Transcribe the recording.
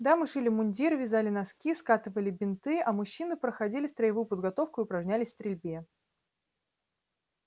да мы шили мундиры вязали носки скатывали бинты а мужчины проходили строевую подготовку и упражнялись в стрельбе